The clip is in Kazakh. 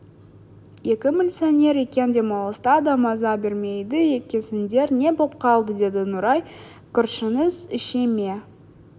екі милиционер екен демалыста да маза бермейді екенсіңдер не боп қалды деді нұрай көршіңіз іше ме